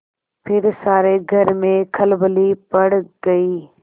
फिर सारे घर में खलबली पड़ गयी